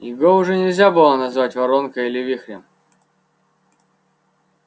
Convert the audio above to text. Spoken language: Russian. его уже нельзя было назвать воронкой или вихрем